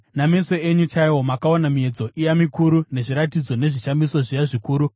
Nameso enyu chaiwo makaona miedzo iya mikuru, nezviratidzo nezvishamiso zviya zvikuru.